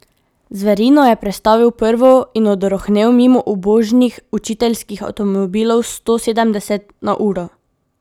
Zverino je prestavil v prvo in odrohnel mimo ubožnih učiteljskih avtomobilov sto sedemdeset na uro.